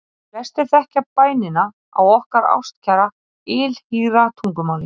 Flestir þekkja bænina á okkar ástkæra ylhýra tungumáli: